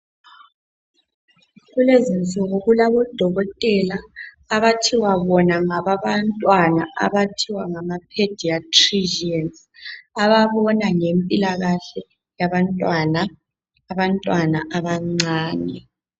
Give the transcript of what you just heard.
Kulezinsuku kulabo dokotela abathiwa bona ngababantwana abathiwa ngama pediatricians ababona ngempilakahke yabantwana abancane.